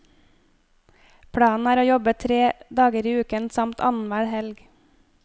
Planen er å jobbe tre dager i uken, samt annenhver helg.